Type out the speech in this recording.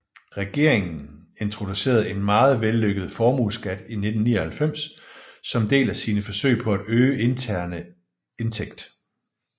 Regeringen introducerede en meget vellykket formueskat i 1999 som del af sine forsøg på at øge interne indtægt